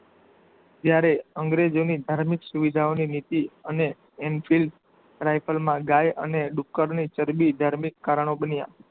ત્યારે અંગ્રેજોની ધાર્મિક સુવિધાઓની નીતિ અને એમસીલ રાયફલમાં ગાય અને ડુકર ની ચરબી ધાર્મિક કારણો બન્યા.